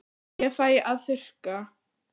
Ég fæ að þurrka.